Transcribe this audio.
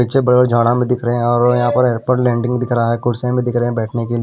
पीछे बड़े बड़े झाड़ा भी दिख रहे हैं और यहाँ पर एयरपोर्ट लँडिंग दिख रहा है कुर्सियां भी दिख रहे है बैठने के लिए।